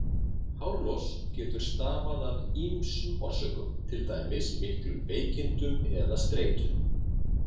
Hárlos getur stafað af ýmsum orsökum, til dæmis miklum veikindum eða streitu.